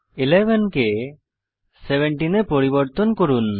11 কে 17 এ পরিবর্তন করুন